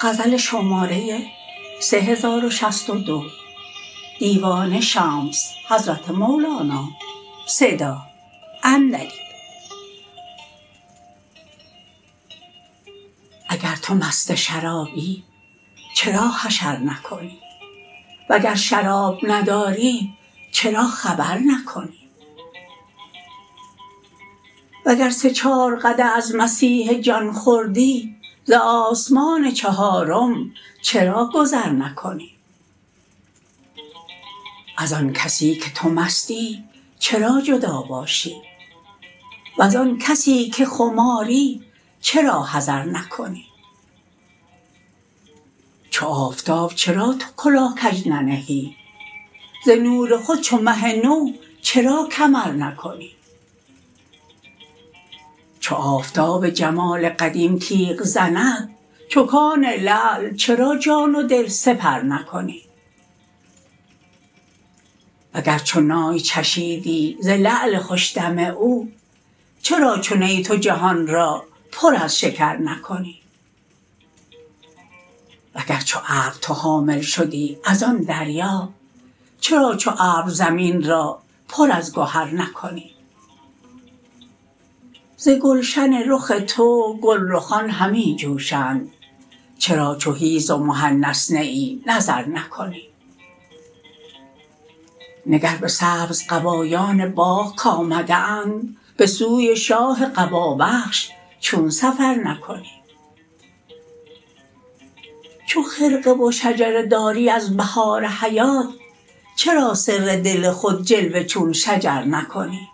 اگر تو مست شرابی چرا حشر نکنی وگر شراب نداری چرا خبر نکنی وگر سه چار قدح از مسیح جان خوردی ز آسمان چهارم چرا گذر نکنی از آن کسی که تو مستی چرا جدا باشی وز آن کسی که خماری چرا حذر نکنی چو آفتاب چرا تو کلاه کژ ننهی ز نور خود چو مه نو چرا کمر نکنی چو آفتاب جمال قدیم تیغ زند چو کان لعل چرا جان و دل سپر نکنی وگر چو نای چشیدی ز لعل خوش دم او چرا چو نی تو جهان را پر از شکر نکنی وگر چو ابر تو حامل شدی از آن دریا چرا چو ابر زمین را پر از گهر نکنی ز گلشن رخ تو گلرخان همی جوشند چرا چو حیز و محنث نه ای نظر نکنی نگر به سبزقبایان باغ کآمده اند به سوی شاه قبابخش چون سفر نکنی چو خرقه و شجره داری از بهار حیات چرا سر دل خود جلوه چون شجر نکنی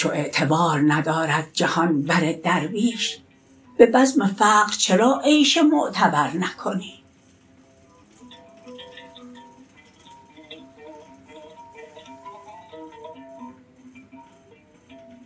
چو اعتبار ندارد جهان بر درویش به بزم فقر چرا عیش معتبر نکنی